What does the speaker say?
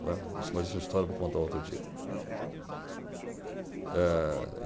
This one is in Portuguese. Né, isso, mas essa história eu vou contar outro dia.